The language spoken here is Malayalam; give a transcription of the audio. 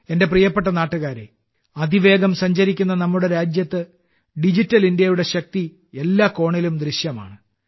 എന്റെ പ്രിയപ്പെട്ട നാട്ടുകാരേ അതിവേഗം സഞ്ചരിക്കുന്ന നമ്മുടെ രാജ്യത്ത് ഡിജിറ്റൽ ഇന്ത്യയുടെ ശക്തി എല്ലാ കോണിലും ദൃശ്യമാണ്